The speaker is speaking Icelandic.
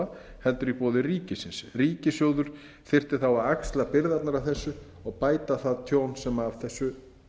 kröfuhafa heldur í boði ríkisins ríkissjóður þyrfti þá að axla byrðarnar af þessu og bæta það tjón sem af þessu